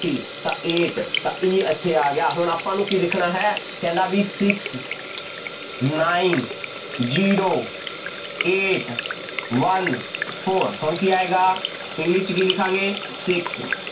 T ਤਾਂ eight ਤਾਂ E ਇੱਥੇ ਆ ਗਿਆ ਹੁਣ ਆਪਾਂ ਇਹਨੂੰ ਕੀ ਲਿਖਣਾ ਹੈ, ਕਹਿੰਦਾ ਬਈ Six Nine Zero Eight One Four ਹੁਣ ਕੀ ਆਏਗਾ english 'ਚ ਕੀ ਲਿਖਾਂਗੇ Six